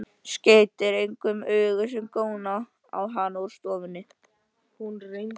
Skeytir engu um augu sem góna á hann úr stofunni.